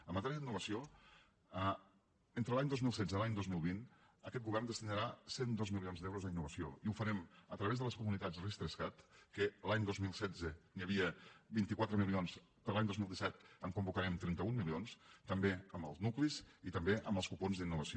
en matèria d’innovació entre l’any dos mil setze i l’any dos mil vint aquest govern destinarà cent i dos milions d’euros a innovació i ho farem a través de les comunitats ris3cat que l’any dos mil setze n’hi havia vint quatre milions per a l’any dos mil disset en convocarem trenta un milions també amb els nuclis i també amb els cupons d’innovació